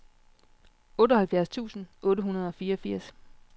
otteoghalvfjerds tusind otte hundrede og fireogfirs